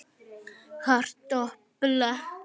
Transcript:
Hart dobl.